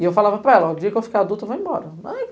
E eu falava para ela, o dia que eu ficar adulta, vai embora.